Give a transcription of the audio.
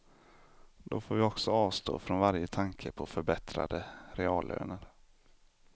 Då får vi också avstå från varje tanke på förbättrade reallöner.